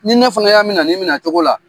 Ni'i ne fana y'a minɛ nin minɛ cogo la.